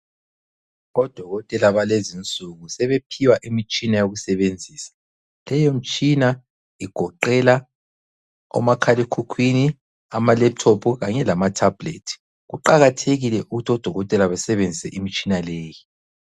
Odokotela balezi insuku sebephiwa imitshina eyokusebenzisa ,leyo mitshina igoqela omakhalekhukhwini, ama laptop kanye lama tablet. Kuqakathekile ukuthi odokotela basebenzise imitshina leyi.